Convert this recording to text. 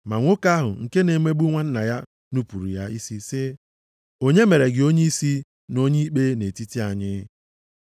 “Ma nwoke ahụ nke na-emegbu nwanna ya nupuru ya sị, ‘Onye mere gị onyeisi na onye ikpe nʼetiti anyị?